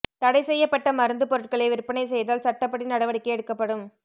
தடைசெய்யப்பட்ட மருந்து பொருட்களை விற்பனை செய்தால் சட்டப்படி நடவடிக்கை எடுக்கப்படும்